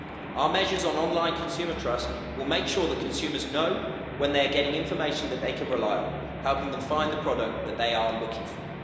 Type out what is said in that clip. Our measures on online consumer trust will make sure that consumers know when they're getting information that they can rely on, helping them find the product that they are looking for.